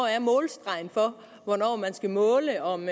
er målstregen for hvornår man skal måle om